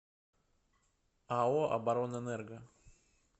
ао оборонэнерго